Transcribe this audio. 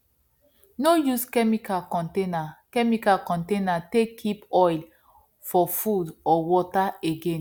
no use chemical container chemical container take keep oil for food or water again